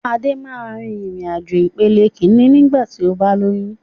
Adé máa rìn-ìrìn àjò ìpele Kínní ni igba ti o ba lóyún